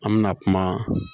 An mɛna kuma